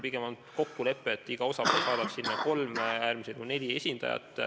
Pigem on olnud kokkulepe, et iga osapool saadab laua taha kolm, äärmisel juhul neli esindajat.